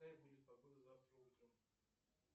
какая будет погода завтра утром